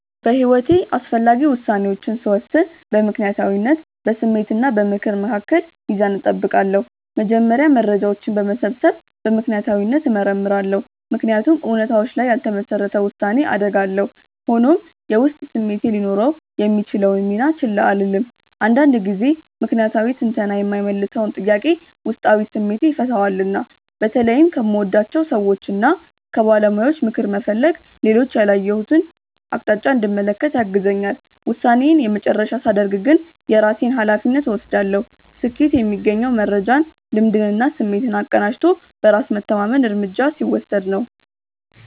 በሕይወቴ አስፈላጊ ውሳኔዎችን ስወስን በምክንያታዊነት፣ በስሜት እና በምክር መካከል ሚዛን እጠብቃለሁ። መጀመሪያ መረጃዎችን በመሰብሰብ በምክንያታዊነት እመረምራለሁ፤ ምክንያቱም እውነታዎች ላይ ያልተመሰረተ ውሳኔ አደጋ አለው። ሆኖም፣ የውስጥ ስሜቴ ሊኖረው የሚችለውን ሚና ችላ አልልም፤ አንዳንድ ጊዜ ምክንያታዊ ትንተና የማይመልሰውን ጥያቄ ውስጣዊ ስሜቴ ይፈታዋልና። በተለይም ከምወዳቸው ሰዎችና ከባለሙያዎች ምክር መፈለግ ሌሎች ያላየሁትን አቅጣጫ እንድመለከት ያግዘኛል። ውሳኔዬን የመጨረሻ ሳደርግ ግን የራሴን ሃላፊነት እወስዳለሁ። ስኬት የሚገኘው መረጃን፣ ልምድንና ስሜትን አቀናጅቶ በራስ መተማመን እርምጃ ሲወስድ ነው።